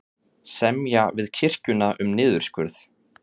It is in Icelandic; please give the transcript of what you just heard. Semja við kirkjuna um niðurskurð